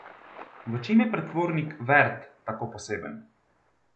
V čem je pretvornik Vert tako poseben?